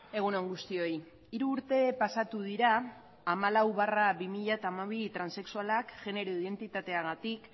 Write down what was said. egun on guztioi hiru urte pasatu dira hamalau barra bi mila hamabi transexualak genero identitateagatik